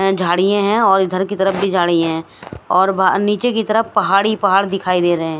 झाड़ीयां है और इधर की तरफ भी झाडी हैं और बा नीचे की तरफ पहाड़ी पहाड़ दिखाई दे रहे हैं।